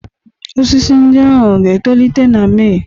Osisi ndị ahụ ga-etolite na Mee?